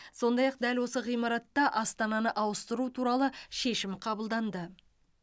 сондай ақ дәл осы ғимаратта астананы ауыстыру туралы шешім қабылданды